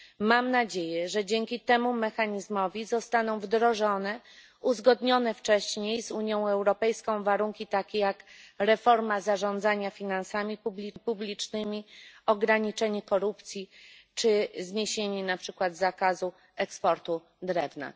Mam nadzieję, że dzięki temu mechanizmowi zostaną wdrożone uzgodnione wcześniej z Unią Europejską warunki, takie jak reforma zarządzania finansami publicznymi, ograniczenie korupcji czy zniesienie na przykład zakazu eksportu drewna.